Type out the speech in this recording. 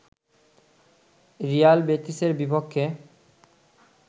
Real বেটিসের বিপক্ষে